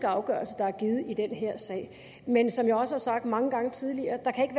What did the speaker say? afgørelse der er givet i den her sag men som jeg også har sagt mange gange tidligere kan